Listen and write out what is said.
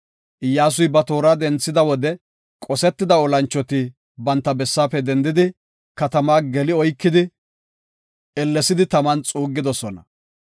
Iyyasuy ba toora denthida wode qosetida olanchoti banta bessaafe dendidi, katamaa geli oykidi, ellesidi taman xuuggidosona.